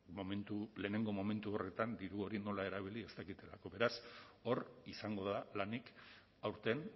lehenengo momentu horretan diru hori nola erabili ez dakitelako beraz hor izango da lanik aurten